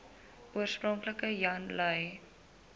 oorspronklik jan lui